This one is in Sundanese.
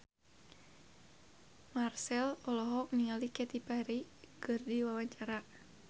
Marchell olohok ningali Katy Perry keur diwawancara